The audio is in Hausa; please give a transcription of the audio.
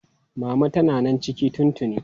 Mama tana nan ciki tun tuni.